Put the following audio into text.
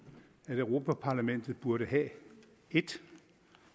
at europa parlamentet burde have et